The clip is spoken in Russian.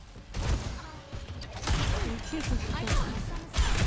включи жестокий